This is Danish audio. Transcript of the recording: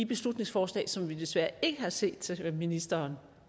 beslutningsforslag som vi desværre ikke har set ministeren